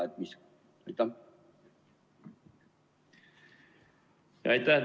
Aitäh!